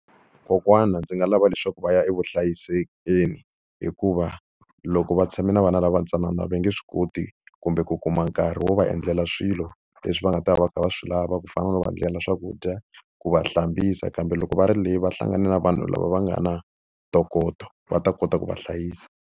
Kokwana ndzi nga lava leswaku va ya evuhlayiselweni hikuva loko va tshame na vana lava ntsanana va nge swi koti kumbe ku kuma nkarhi wo va endlela swilo leswi va nga ta va va kha va swi lava ku fana no va endlela swakudya, ku va hlambisa. Kambe loko va ri le va hlangane na vanhu lava va nga na ntokoto va ta kota ku va hlayisa.